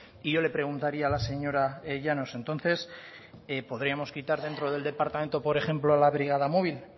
y yo le preguntaría a la señora llanos entonces podríamos quitar dentro del departamento por ejemplo la brigada móvil